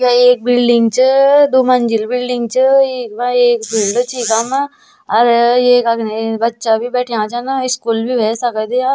या एक बिल्डिंग च दुमंजिल बिल्डिंग च इखमा एक फिल्ड च इखामा अर एक अग्ने बच्चा भी बैठयां छन स्कूल भी हुवै सकद या।